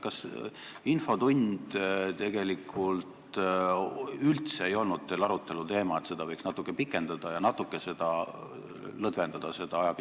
Kas üldse ei olnud teil arutelu all teema, et infotundi võiks natuke pikendada ja seda ajapiirangut lõdvendada?